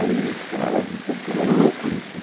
Aí, cara, você fica meio louco isso, né?